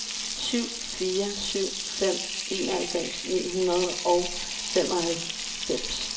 syv fire syv fem enoghalvfems ni hundrede og femoghalvfems